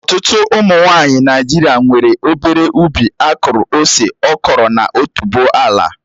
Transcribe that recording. Ọtụtụ ụmụ nwanyị Naijiria nwere obere ubi akụrụ ose, okro na otuboala